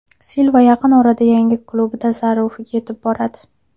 Silva yaqin orada yangi klubi tasarrufiga yetib boradi.